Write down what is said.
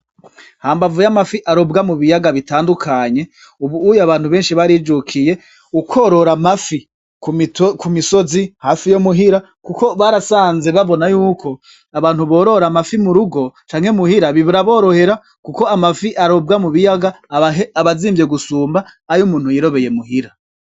Hambavu y'amafi arobwa mu biyaga bitandukanye, ubu uye abantu benshi barijukiye ukworora amafi ku misozi hafi yo muhira, kuko barasanze babona yuko abantu borora amafi mu rugo canke muhira bibura aborohera, kuko amafi arobwa mu biyaga abazimvye gusumba ayo umuntu yirobeyemo uhira.